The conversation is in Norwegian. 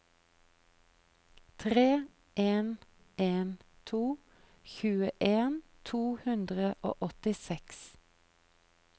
tre en en to tjueen to hundre og åttiseks